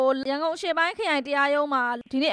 ို့ ရန်ကုန်အရှေ့ပိုင်းခရိုင်တရားရုံးက ဒီနေ့